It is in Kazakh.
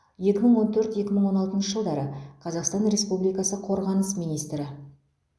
екі мың он төрт екі мың он алтыншы жылдары қазақстан республикасы қорғаныс министрі